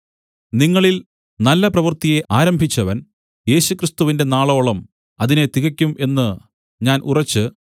നിങ്ങളിൽ നല്ല പ്രവൃത്തിയെ ആരംഭിച്ചവൻ യേശുക്രിസ്തുവിന്റെ നാളോളം അതിനെ തികയ്ക്കും എന്ന് ഞാൻ ഉറച്ച്